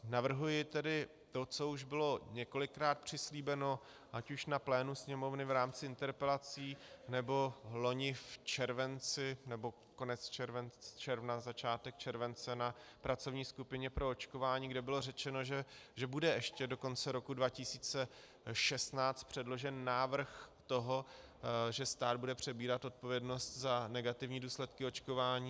Navrhuji tedy to, co už bylo několikrát přislíbeno ať už na plénu Sněmovny v rámci interpelací, nebo loni v červenci, nebo konci června, začátkem července, na pracovní skupině pro očkování, kde bylo řečeno, že bude ještě do konce roku 2016 předložen návrh toho, že stát bude přebírat odpovědnost za negativní důsledky očkování.